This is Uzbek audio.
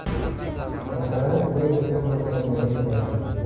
Masalan, men unga quloq solmagan bo‘lardim.